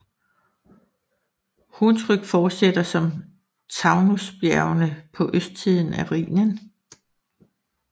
Hunsrück fortsætter som Taunusbjergene på østsiden af Rhinen